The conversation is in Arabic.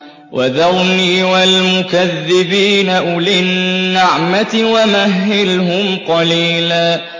وَذَرْنِي وَالْمُكَذِّبِينَ أُولِي النَّعْمَةِ وَمَهِّلْهُمْ قَلِيلًا